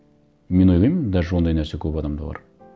мен ойлаймын даже ондай нәрсе көп адамда бар